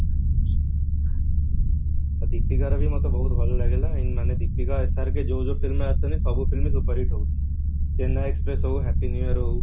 ଦୀପିକା ର ବି ମତେ ବହତ ଭଲ ଲାଗିଲା ମାନେ ଦୀପିକା SRK ଯୋଉ ଯୋଉ film ରେ ଆସୁଛନ୍ତି ସବୁ film superhit ହଉଛି ଚେନ୍ନାଇ express ହଉ happy new year ହଉ